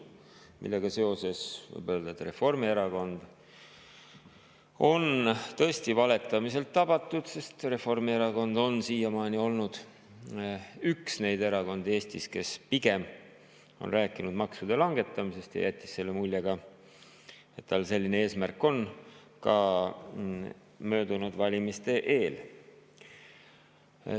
Sellega seoses võib öelda, et Reformierakond on tõesti valetamiselt tabatud, sest Reformierakond on siiamaani olnud üks neid erakondi Eestis, kes pigem on rääkinud maksude langetamisest ja jättis mulje, et tal selline eesmärk on, ka möödunud valimiste eel.